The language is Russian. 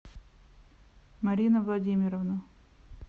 марина владимировна